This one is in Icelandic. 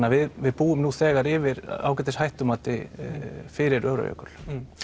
að við búum nú þegar yfir ágætis hættumati fyrir Öræfajökul